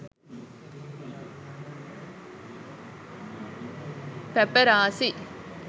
paparasi